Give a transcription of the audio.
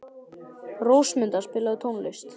Rósmunda, spilaðu tónlist.